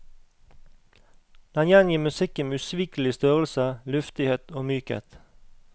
Den gjengir musikken med usvikelig størrelse, luftighet og mykhet.